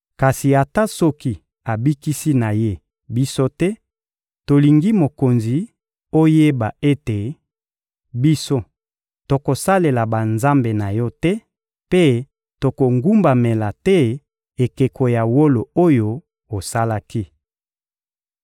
Kasi ata soki abikisi na Ye biso te, tolingi mokonzi oyeba ete, biso, tokosalela banzambe na yo te mpe tokogumbamela te ekeko ya wolo oyo osalaki.